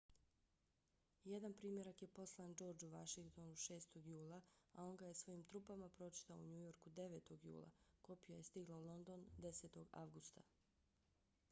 jedan primjerak je poslan georgeu vashingtonu 6. jula a on ga je svojim trupama pročitao u njujorku 9. jula. kopija je stigla u london 10. avgusta